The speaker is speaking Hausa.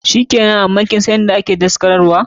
Shikenan, but kinsan inda ake daskarar wa?